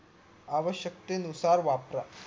आवश्यकतेय नुसार वापरा